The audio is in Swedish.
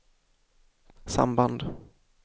samband